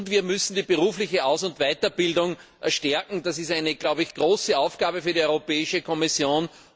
Und wir müssen die berufliche Aus und Weiterbildung stärken. Das ist eine große Aufgabe für die Europäische Kommission.